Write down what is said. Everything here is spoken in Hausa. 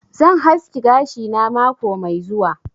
Zan haski gashi na mako Mai zuwa.